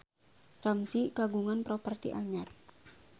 Ramzy kagungan properti anyar